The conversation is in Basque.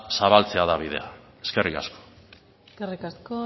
zabaltzea da bidea eskerrik asko eskerrik asko